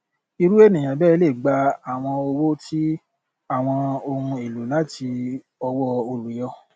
irú ènìyàn bẹẹ lè gba àwọn owó ti àwọn ohun èlò láti ọwọ olùyọ